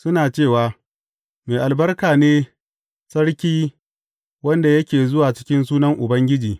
Suna cewa, Mai albarka ne sarki wanda yake zuwa cikin sunan Ubangiji!